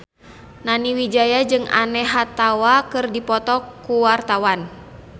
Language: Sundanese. Nani Wijaya jeung Anne Hathaway keur dipoto ku wartawan